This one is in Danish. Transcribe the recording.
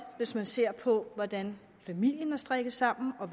hvis man ser på hvordan familien er strikket sammen og